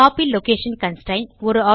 copy location constraint